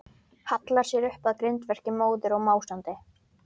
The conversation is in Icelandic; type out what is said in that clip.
Hallar sér upp að grindverki, móður og másandi.